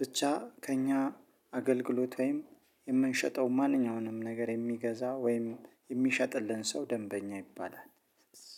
ብቻ ከእኛ አገልግሎት ወይም የምንሸጠው ማንኛውንም ነገር የሚገዛ ወይም የሚሸጥልን ሰው ደንበኛ ይባላል።